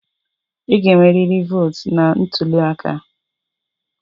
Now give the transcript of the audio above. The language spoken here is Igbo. Ị ga-enwerịrị votu na ntuli aka!